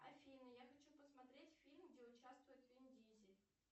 афина я хочу посмотреть фильм где участвует вин дизель